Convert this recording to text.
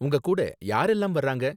உங்ககூட யாரெல்லாம் வராங்க?